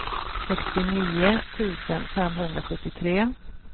sextionio tusen femhundrasjuttiotre